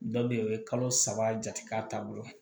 Dɔ bɛ yen o bɛ kalo saba jate k'a taabolo